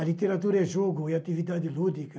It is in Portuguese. A literatura é jogo e atividade lúdica.